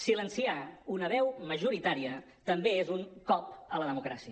silenciar una veu majoritària també és un cop a la democràcia